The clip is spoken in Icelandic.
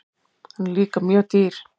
Hann er líka mjög dýr.